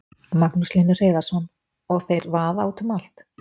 Magnús Hlynur Hreiðarsson: Og þeir vaða út um allt?